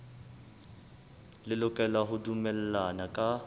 le lokela ho dumellana ka